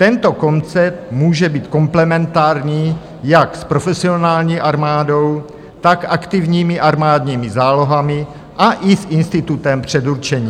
Tento koncept může být komplementární jak s profesionální armádou, tak aktivními armádními zálohami a i s institutem předurčení.